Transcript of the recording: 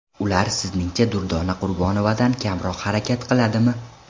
Ular sizningcha Durdona Qurbonovadan kamroq harakat qiladimi?!